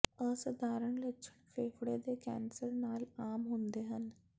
ਅਸਧਾਰਨ ਲੱਛਣ ਫੇਫੜੇ ਦੇ ਕੈਂਸਰ ਨਾਲ ਆਮ ਹੁੰਦੇ ਹਨ